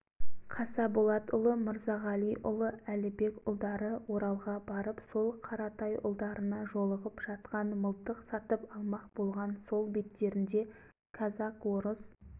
бұл қазақтардың белгілілері ақсақал бақытжан қаратайұлы мен әбдірахман әйтейұлы екінші ипмағамбетұлы қангерейұлы еді